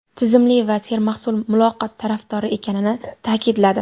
tizimli va sermahsul muloqot tarafdori ekanini taʼkidladi.